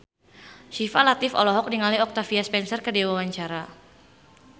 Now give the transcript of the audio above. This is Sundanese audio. Syifa Latief olohok ningali Octavia Spencer keur diwawancara